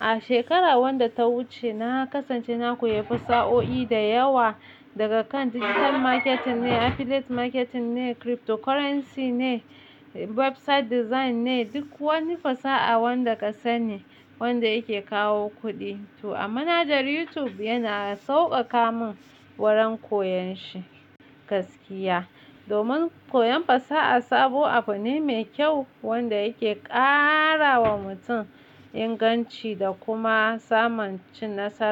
A shekarar wadda ta wuce na kasance na koyi fasahohi da yawa daga kan digital marketing ne, affiliate marketing ne, cryptocurrency ne, website design ne, duk wani fasaha wanda kasani wanda yake kawo kuɗi. To a manhajar YouTube yana sauƙaƙa min wurin koyon shi gaskiya. Domin koyon fasaha sabo abu ne mai kyau wanda yake ƙara wa mutum inganci da kuma samun cin nasara.